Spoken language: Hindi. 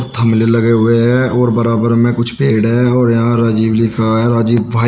थमले लगे हुए हैं और बराबर में कुछ पेड़ हैं और यहां राजीव लिखा है राजीव भाई।